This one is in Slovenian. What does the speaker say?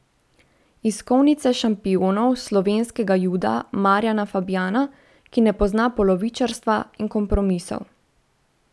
Iz kovnice šampionov slovenskega juda Marjana Fabjana, ki ne pozna polovičarstva in kompromisov.